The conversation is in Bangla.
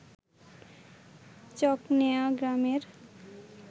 চকনেওয়া গ্রামের